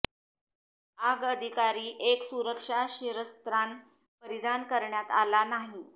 आग अधिकारी एक सुरक्षा शिरस्त्राण परिधान करण्यात आला नाही